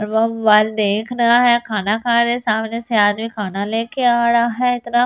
देख रहा है खाना खा रहा है सामने से आदमी खाना लेके आ रहा है कुछ रेस्टोरेंट ।